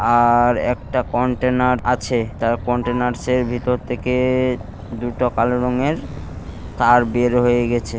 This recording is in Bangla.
আ-আর একটা কন্টেইনার আছে তার কন্টেইনার্‌সের ভিতর থেকে-এ-এ দুটো কালো রঙের তার বের হয়ে গেছে।